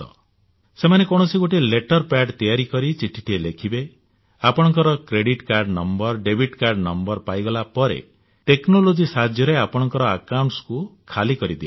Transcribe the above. ସେମାନେ କୌଣସି ଗୋଟିଏ ନକଲି ଲେଟର ପେଡ୍ ତିଆରି କରି ଚିଠିଟିଏ ଲେଖିବେ ଆପଣଙ୍କ credit card number debit card number ପାଇଗଲା ପରେ ଟେକ୍ନୋଲୋଜି ସାହାଯ୍ୟରେ ଆପଣଙ୍କ ଏକାଉଂଟକୁ ଖାଲିକରି ଦିଅନ୍ତି